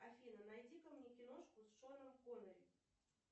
афина найди ка мне киношку с шоном коннери